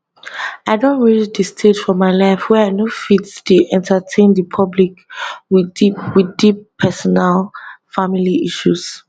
i don reach di stage for my life wey be say i no fit dey entertain di public wit deep wit deep personal family issues